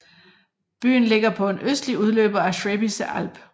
Byen ligger på en østlig udløber af Schwäbische Alb